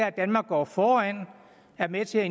at danmark går foran og er med til at